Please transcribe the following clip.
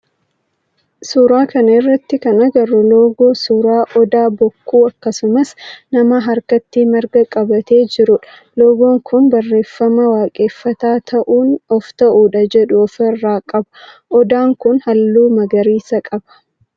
Suuraa kana irratti kan agarru loogoo suuraa odaa, bokkuu, akkasumas nama harkatti marga qabatee jirudha. Loogoon kun barreeffama waaqeffataa ta'uun of ta'uudha jedhu of irraa qaba. Odaan kun halluu magariisa qaba.